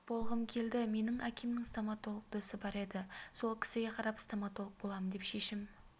болғым келді менің әкемнің стоматолог досы бар еді сол кісіге қарап стоматолог боламын деп шешім